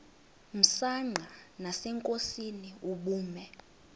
msanqa nasenkosini ubume